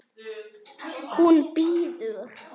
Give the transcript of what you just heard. Hún bíður!